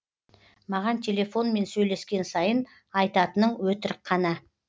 маған телефонмен сөйлескен сайын айтатының өтірік қана